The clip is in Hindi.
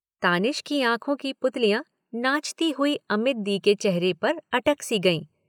तानिश की आँखों की पुतलियाँ नाचती हुई अमित दी के चेहरे पर अटक सी गईं